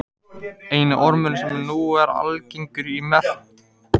Eini ormurinn sem nú er algengur í meltingarfærum manna hérlendis er njálgur.